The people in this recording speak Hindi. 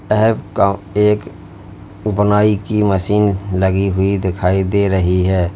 एक बुनाई की मशीन लगी हुई दिखाई दे रही है।